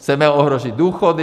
Chceme ohrozit důchody?